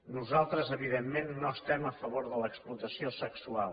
nosaltres evidentment no estem a favor de l’explotació sexual